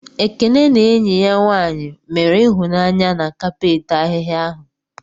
Ekene na enyi ya nwanyị mere ịhụnanya na kapet ahịhia ahụ.